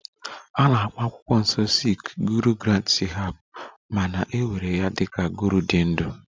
A na-akpọ akwụkwọ nsọ sikh Guru Granth sahib ma na-ewere ya dị ka Guru dị ndụ